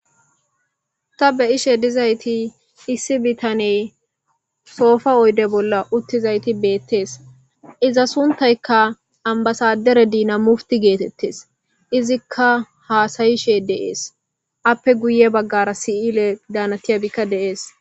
Hayssan ta be'izayssi issi bitaney soopa oyde bolla uttidi dees. Iza sunththayka ambbasadere dinamose geetetees. Izika haasayishe dees. Izaraka hara bitaney dees.